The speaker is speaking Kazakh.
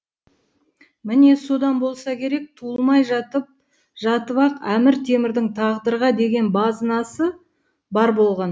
міне содан болса керек туылмай жатып жатып ақ әмір темірдің тағдырға деген базынасы бар болған